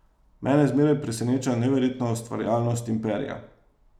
Mene zmeraj preseneča neverjetna ustvarjalnost imperija.